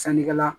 Sannikɛla